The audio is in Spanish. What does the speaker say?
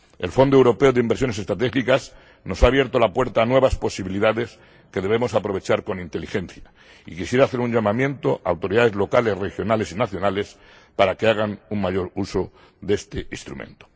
El Fondo Europeo para Inversiones Estratégicas nos ha abierto la puerta a nuevas posibilidades que debemos aprovechar con inteligencia, y quisiera hacer un llamamiento a autoridades locales, regionales y nacionales para que hagan un mayor uso de este instrumento.